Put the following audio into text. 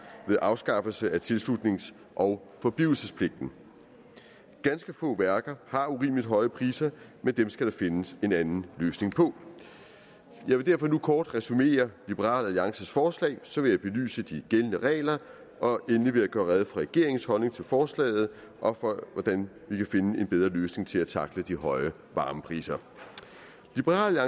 ved afskaffelse af tilslutnings og forblivelsespligten ganske få værker har urimelig høje priser men det skal der findes en anden løsning på jeg vil derfor nu kort resumere liberal alliances forslag så vil jeg belyse de gældende regler og endelig vil jeg gøre rede for regeringens holdning til forslaget og for hvordan vi kan finde en bedre løsning til at tackle de høje varmepriser liberal